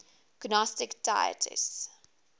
gnostic deities